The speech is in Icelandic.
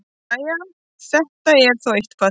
Jæja, þetta er þó eitthvað.